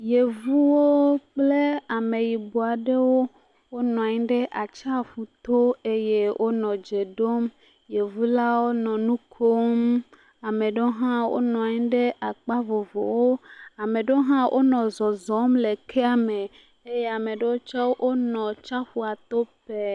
Yevuwo kple Ameyibɔ aɖewo wonɔ anyi ɖe atsiaƒuto eye wonɔ dze ɖom. Yevulawo nɔ nu kom. Ame ɖewo hã wonɔ anyi ɖe akpa vovowo. Ame ɖewo hã wonɔ zɔzɔm le kea me eye ame aɖewo tsɛ wonɔ atsiaƒua to pɛɛ.